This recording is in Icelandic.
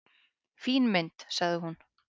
"""Fín mynd, sagði hún."""